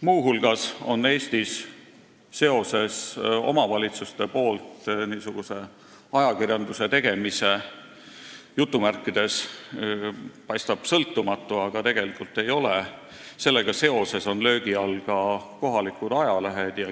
Muu hulgas on Eestis seoses omavalitsustes niisuguse "ajakirjanduse tegemisega" – jutumärkides, st paistab sõltumatu, aga tegelikult ei ole – löögi all ka kohalikud ajalehed.